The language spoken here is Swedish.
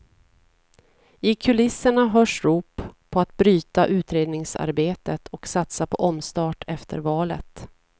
I kulisserna hörs rop på att bryta utredningsarbetet och satsa på omstart efter valet.